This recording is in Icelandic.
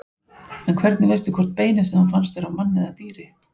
En hvernig veistu hvort beinið sem þú fannst er af manni eða dýri?